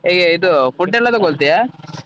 ಹೇಗೆ ಇದು food ಎಲ್ಲ ತೊಗೊಳ್ತಿಯಾ?